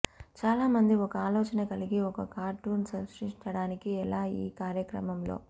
చాలా మంది ఒక ఆలోచన కలిగి ఒక కార్టూన్ సృష్టించడానికి ఎలా ఈ కార్యక్రమంలో